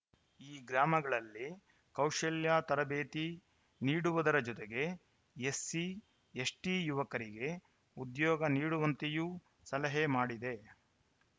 ಈ ಗ್ರಾಮಗಳಲ್ಲಿ ಕೌಶಲ್ಯ ತರಬೇತಿ ನೀಡುವುದರ ಜತೆಗೆ ಎಸ್ಸಿ ಎಸ್ಟಿಯುವಕರಿಗೆ ಉದ್ಯೋಗ ನೀಡುವಂತೆಯೂ ಸಲಹೆ ಮಾಡಿದೆ